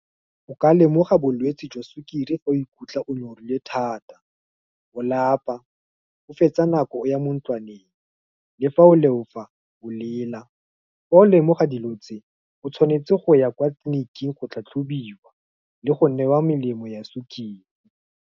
O ka lemoga bolwetsi jwa sukiri, ge o ikutlwa o nyorilwe thata, o lapa, o fetsa nako ya mo ntlwaneng, le fa o leofa, o lela, fa o lemoga dilo tse, o tshwanetse go ya kwa tleliniking go tlhatlhobiwa, le go newa melemo ya sukiri.